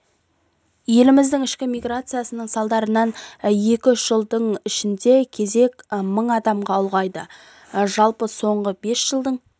еліміздің ішкі миграциясының салдарынан екі-үш жылдың ішінде кезек мың адамға ұлғайды жалпы соңғы бес жылдың